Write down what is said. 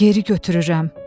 Geri götürürəm.